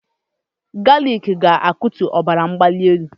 Galik ga-akutu ọbara mgbali elu